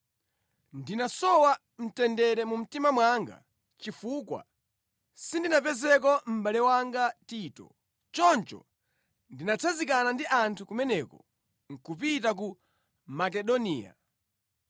ndinasowa mtendere mu mtima mwanga, chifukwa sindinapezeko mʼbale wanga Tito. Choncho ndinatsanzikana ndi anthu kumeneko nʼkupita ku Makedoniya.